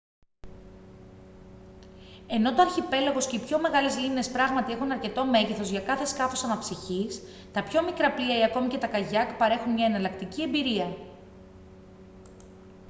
ενώ το αρχιπέλαγος και οι πιο μεγάλες λίμνες πράγματι έχουν αρκετό μέγεθος για κάθε σκάφος αναψυχής τα πιο μικρά πλοία ή ακόμη και τα καγιάκ παρέχουν μια εναλλακτική εμπειρία